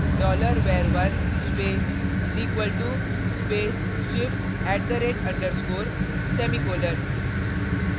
$var1 space = space shift @_ semicolon